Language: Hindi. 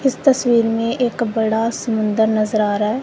इस तस्वीर में एक बड़ा समुंदर नजर आ रहा है।